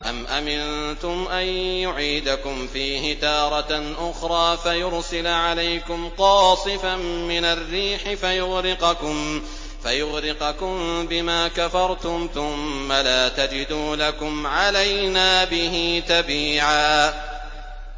أَمْ أَمِنتُمْ أَن يُعِيدَكُمْ فِيهِ تَارَةً أُخْرَىٰ فَيُرْسِلَ عَلَيْكُمْ قَاصِفًا مِّنَ الرِّيحِ فَيُغْرِقَكُم بِمَا كَفَرْتُمْ ۙ ثُمَّ لَا تَجِدُوا لَكُمْ عَلَيْنَا بِهِ تَبِيعًا